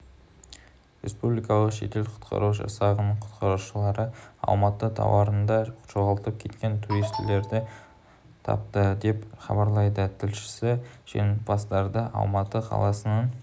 республикалық жедел-құтқару жасағының құтқарушылары алматы тауларында жоғалып кеткен туристерді тапты деп хабарлайды тілшісі жеңімпаздарды алматы қаласының